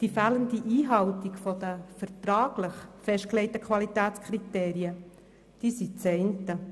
Die fehlende Einhaltung der vertraglich festgelegten Qualitätskriterien ist das eine.